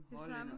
De samme?